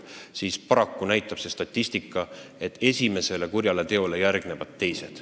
Statistika näitab, et esimesele kurjale teole järgnevad teised.